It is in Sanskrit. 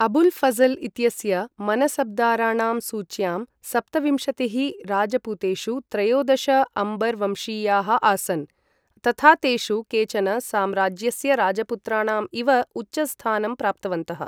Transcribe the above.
अबुल् फज़ल् इत्यस्य मनसब्दाराणां सूच्यां सप्तविंशतिः राजपूतेषु त्रयोदश अम्बर् वंशीयाः आसन्, तथा तेषु केचन साम्राज्यस्य राजपुत्राणाम् इव उच्चस्थानं प्राप्तवन्तः।